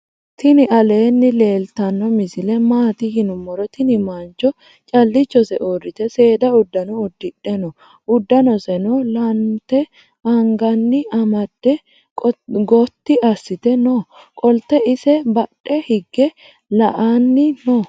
tini aleni leltsno misole maati yinumoro. tini mancho calichose uriite seeda udaano udiidhe noo. uddanoseno lanente anganni amaade gooti asite noo. qolte ise badhe hige la"anni noo.